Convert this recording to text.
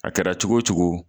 A kɛra cogo o cogo